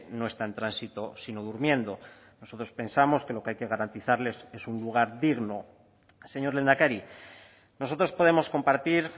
no está en tránsito sino durmiendo nosotros pensamos que lo que hay que garantizarles es un lugar digno señor lehendakari nosotros podemos compartir